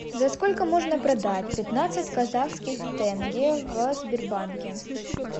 за сколько можно продать пятнадцать казахских тенге в сбербанке